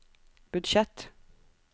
budsjett